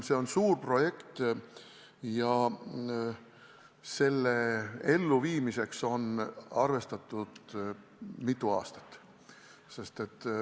See on suur projekt ja selle elluviimiseks on arvestatud mitu aastat.